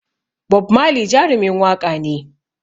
Bob Marley Jarumin waƙa ne